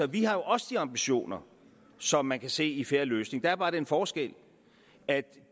vi har jo også de ambitioner som man kan se i fair løsning der er bare den forskel at